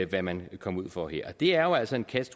hvad man kan komme ud for her og det er jo altså en catch